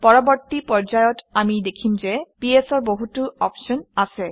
পৰৱৰ্তী পৰ্যায়ত আমি দেখিম যে ps অৰ বহুতো অপশ্যন আছে